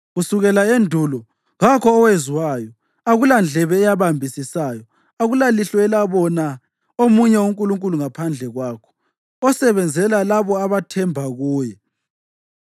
Kusukela endulo kakho owezwayo, akulandlebe eyabambisisayo, akulalihlo elabona omunye uNkulunkulu ngaphandle kwakho, osebenzela labo abathembe kuye.